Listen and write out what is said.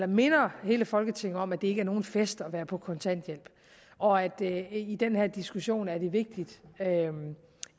minder hele folketinget om at det ikke er nogen fest at være på kontanthjælp og at det i den her diskussion er vigtigt